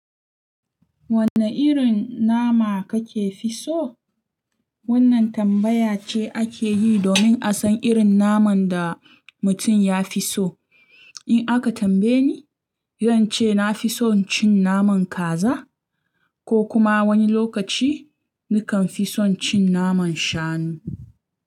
Wanne irin nama ka ke fi so? Wannan tambaya ce ake yi domin a san irin naman da mutum ya fi so. In aka tambaye ni, zan ce na fi son cin naman kaza, ko kuma wani lokaci nakan fi son cin naman Shanu.